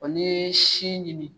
O sin ɲini